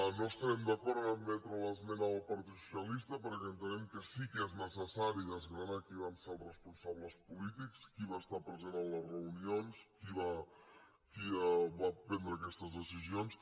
no estem d’acord a admetre l’esmena del partit socialista perquè entenem que sí que és necessari desgranar qui van ser els responsables polítics qui va estar present a les reunions qui va prendre aquestes decisions